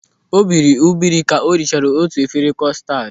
O biri ubiri ka o richara otu efere kostad.